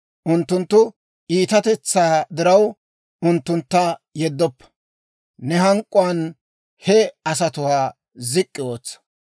Unttunttu iitatetsaa diraw, unttuntta yeddoppa; ne hank'k'uwaan he asatuwaa zik'k'i ootsa.